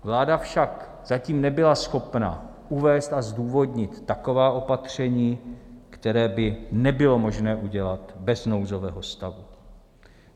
Vláda však zatím nebyla schopna uvést a zdůvodnit taková opatření, která by nebylo možno udělat bez nouzového stavu.